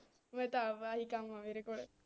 ਮੈਂ ਤਾਂ ਆਪ ਆਹੀ ਕੰਮ ਆ ਮੇਰੇ ਕੋਲੇ